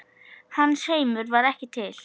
Hans heimur var ekki til.